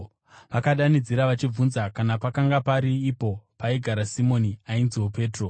Vakadanidzira vachibvunza kana pakanga pari ipo paigara Simoni ainziwo Petro.